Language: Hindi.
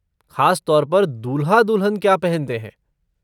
ख़ास तौर पर दूल्हा दुल्हन क्या पहनते हैं?